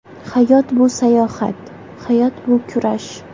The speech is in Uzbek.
Hayot bu sayohat, hayot bu kurash.